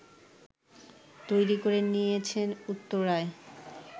তৈরি করে নিয়েছেন উত্তরায়